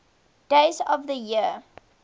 days of the year